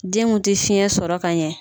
Den mun tɛ fiyɛn sɔrɔ ka ɲɛ